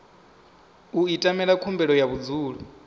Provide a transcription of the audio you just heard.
u ita khumbelo ya vhudzulo